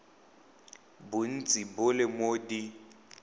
bontsi bo le mo d